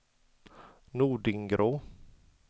Nordingrå